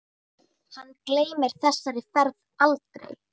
Hann gleymir þessari ferð aldrei.